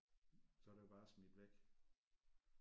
Så er det jo bare smidt væk